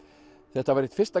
þetta var eitt fyrsta